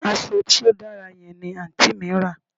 Aso to dara yen ni anti mi ra